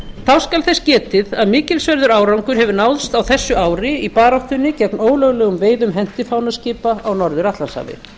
þá skal þess getið að mikilsverður árangur hefur náðst á þessu ári í baráttunni gegn ólöglegum veiðum hentifánaskipa á norður atlantshafi